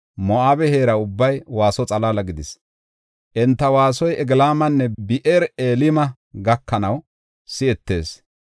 Moo7abe heera ubbay waaso xalaala gidis; enta waasoy Eglaamanne Bi7eer-Elime gakanaw si7etees.